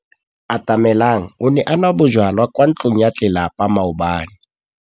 Atamelang o ne a nwa bojwala kwa ntlong ya tlelapa maobane.